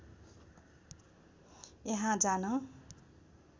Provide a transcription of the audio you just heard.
यहाँ जान